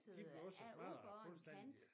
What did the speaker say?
De blev også smadret fuldstændig